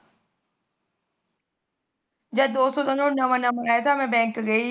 ਜਦ ਦੋ ਸੋ ਦਾ ਨੋਟ ਨਵਾ ਨਵਾ ਆਇਆ ਤਾ ਮੈ ਬੈਂਕ ਗਈ